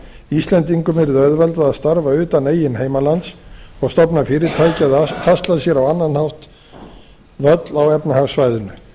íslendingum yrði auðveldað að starfa utan eigin heimalands og stofna fyrirtæki eða hasla sér á annan hátt völl á efnahagssvæðinu